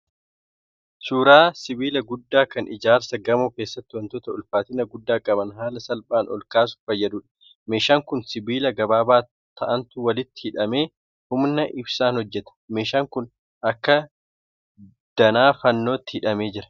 Suuraa sibiila guddaa kan ijaarsa gamoo keessatti wantoota ulfaatina guddaa qaban haala salphaan ol kaasuuf fayyaduudha. Meeshaan kun sibiiila gabaabaa ta'antu walitti hidhamee humna ibsaan hojjeta. Meeshaan kun akka danaa fannootti hidhamee jira.